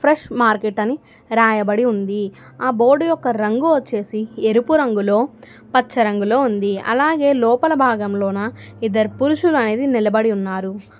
Fresh market అని రాయబడి ఉంది ఆ బోర్డు యొక్క రంగు వచ్చేసి ఎరుపు రంగులో పచ్చ రంగులో ఉంది అలాగే లోపల భాగంలోన ఇద్దరు పురుషులు అనేది నిలబడి ఉన్నారు.